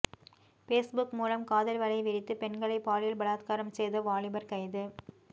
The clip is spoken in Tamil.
பேஸ்புக் மூலம் காதல் வலை விரித்து பெண்களை பாலியல் பலாத்காரம் செய்த வாலிபர் கைது